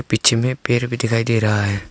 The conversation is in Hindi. इचमे पेड़ भी दिखाई दे रहा है।